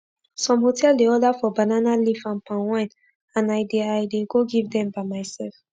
some hotel dey order for banana leaf and palm wine and i dey i dey go give dem by mysef